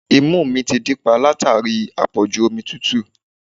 Imú mi dí pa látàrí àpọ̀jù omi tútù